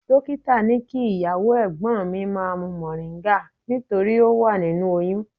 Dọ́kítà ní kí ìyàwó ẹ̀gbọ́n mi má mu moringa nítorí ó wà nínú oyún.